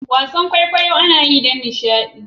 wasan kwaikwayon kwaikwayo anayi don nishadi